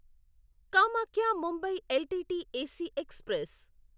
Kamakhya Mumbai LTT AC express